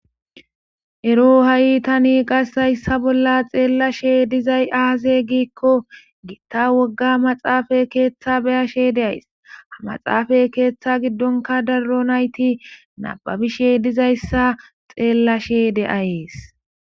ero ha7i tani qasekayssa bolla xeellashe dizay aaze giikko giitta wogga maxaafa keeththa beyashe de ays ha maxaafay keeththa giddonka darro nayti nababishe dizayssa xeellashe de7ayees